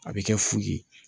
A bɛ kɛ fu ye